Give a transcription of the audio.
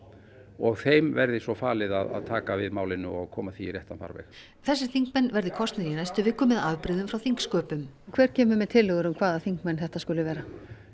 og þeim verði svo falið að taka við málinu og koma því í réttan farveg þessir þingmenn verði kosnir í næstu viku með afbrigðum frá þingsköpum en hver kemur með tillögur um hvaða þingmenn þetta skuli vera